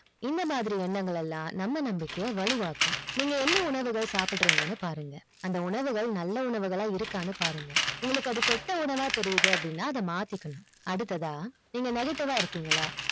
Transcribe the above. இந்த மாதிரி எண்ணங்களெல்லாம் நம்ம நம்பிக்கை வலுவாக்கும் நீங்க என்ன உணவுகள் சாப்பிறிங்க பாருங்க அந்த உணவுகள் நல்ல உணவுகளா இருக்கா பாருங்க உங்களுக்கு அது கெட்ட உணவு அ தெரிய்து அப்டின்னா அத மாத்திக்கனும் அடுத்தா நீங்க negative அ இருக்கீங்களா